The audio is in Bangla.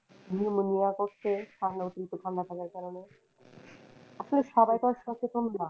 Pneumonia হচ্ছে ঠাণ্ডা অতিরিক্ত ঠাণ্ডা লাগার কারনে আপু সবাই তো আর সচেতন না